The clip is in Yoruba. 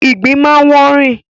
ìgbín máa ń wọ́ rìn.